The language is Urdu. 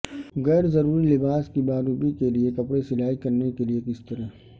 غیر ضروری لباس کی باربی کے لئے کپڑے سلائی کرنے کے لئے کس طرح